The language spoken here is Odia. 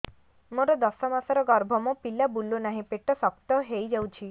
ମୋର ଦଶ ମାସର ଗର୍ଭ ମୋ ପିଲା ବୁଲୁ ନାହିଁ ପେଟ ଶକ୍ତ ହେଇଯାଉଛି